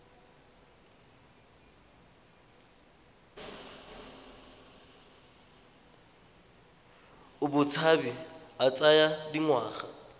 a botshabi a tsaya dingwaga